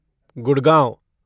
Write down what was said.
Gurgaon